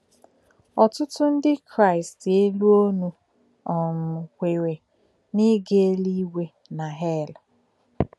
Ọ̀tụ́tụ́ ndí̄ Kráịst élù̄ ònù̄ um kwerè̄ n’ígā élù̄ígwè̄ na hèl.